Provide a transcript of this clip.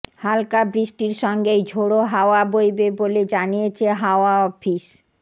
হালকা বৃষ্টির সঙ্গেই ঝোড়ো হাওয়া বইবে বলে জানিয়েছে হাওয়া অফিস